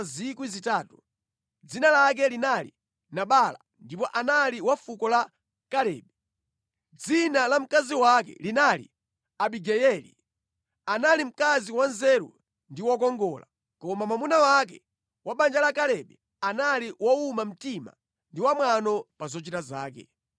Dzina lake linali Nabala ndipo anali wa fuko la Kalebe. Dzina la mkazi wake linali Abigayeli. Anali mkazi wanzeru ndi wokongola, koma mwamuna wake, wa banja la Kalebe, anali wowuma mtima ndi wamwano pa zochita zake.